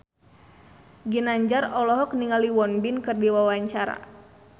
Ginanjar olohok ningali Won Bin keur diwawancara